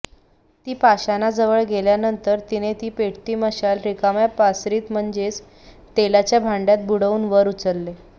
ती पाषाणाजवळ गेल्यानंतर तिने ती पेटती मशाल रिकाम्या पासरीत म्हणजेच तेलाच्या भांडय़ात बुडवून वर उचलले